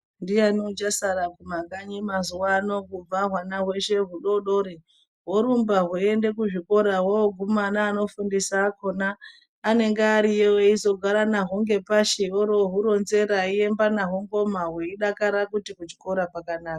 Ndiani uchasara kumakanyi mazuwano kubva hwana hweshe hudodori horumba hoende kuzvikora hwoguma neanofundisa akhona anenge ariyo eizogara nahwo ngepashi orohuronzera eiemba nahwo ngoma hweidakara kuti kuchikora kwakanaka.